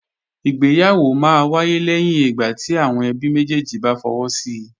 Ìgbéyàwó máa wáyé lẹ́yìn ìgbà tí àwọn ẹbí méjèjì bá fọwọ́ si